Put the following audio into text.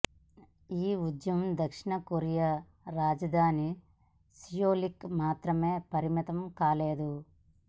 ఈ ఉద్యమం దక్షిణ కొరియా రాజధాని సియోల్కు మాత్రమే పరిమితం కాలేదు